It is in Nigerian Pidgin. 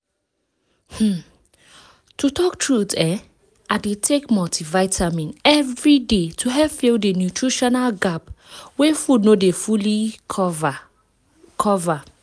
um to talk truth[um]i dey take multivitamin every day to help fill the nutritional gap wey food no dey fully cover cover